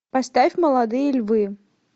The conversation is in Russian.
поставь молодые львы